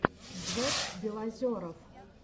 джек белозеров